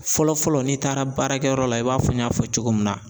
Fɔlɔ-fɔlɔ n'i taara baarakɛyɔrɔ la i b'a fɔ n y'a fɔ cogo min na